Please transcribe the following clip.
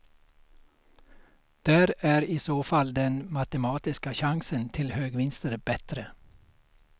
Där är i så fall den matematiska chansen till högvinster bättre.